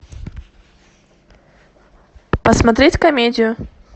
посмотреть комедию